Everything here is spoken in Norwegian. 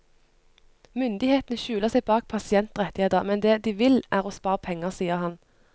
Myndighetene skjuler seg bak pasientrettigheter, men det de vil, er å spare penger, sier han.